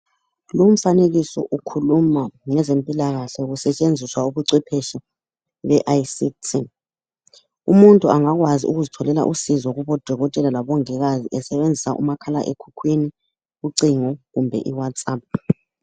Lumfanekiso ukhuluma ngezempilakahle kusetshenziswa ubucwepheshe be ICT. Umuntu angakwazi ukuzitholela usizo kubodokotela labomongikazi esebenzisa umakhalekhukhwini, ucingo kumbe i- Whatsapp